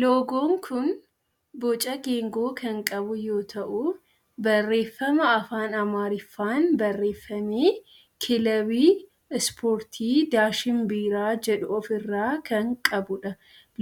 Loogoon kun boca geengoo kan qabu yoo ta'u barreeffama afaan amaariffaan barreeffame kilabii ispoortii daashin biiraa jedhu of irraa kan qabudha.